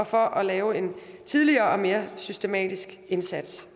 for at lave en tidligere og mere systematisk indsats